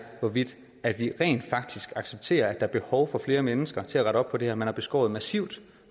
hvorvidt man rent faktisk accepterer at der er behov for flere mennesker til at rette op på det her man har beskåret det massivt